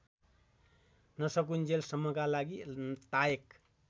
नसकुन्जेलसम्मका लागि तायक